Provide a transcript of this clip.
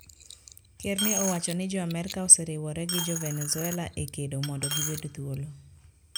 Ker ne owacho ni Jo Amerka oseriwore gi Jo-Venezuela e kedo mondo gibed thuolo.